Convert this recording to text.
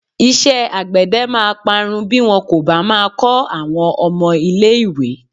Iṣẹ́́ àgbède máa parun bí wọn kò bá máa kọ́ àwọn ọmọ ilé-ìwé.